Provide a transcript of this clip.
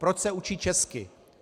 Proč se učí česky?